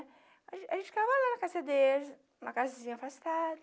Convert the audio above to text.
A a gente trabalhava na casa deles, em uma casinha afastada.